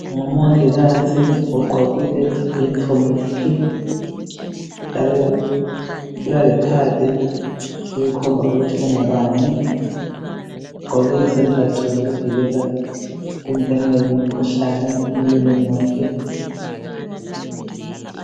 Ngumongikazi ugqokile iyunifomu yakhe njalo ulalekhadi elikhomba ukuthi ungubani. Ugqoke izembatho zokuvikela ukungenwa yimikhuhlane emlonyeni wakhe.